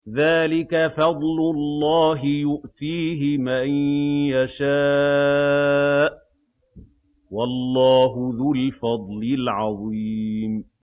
ذَٰلِكَ فَضْلُ اللَّهِ يُؤْتِيهِ مَن يَشَاءُ ۚ وَاللَّهُ ذُو الْفَضْلِ الْعَظِيمِ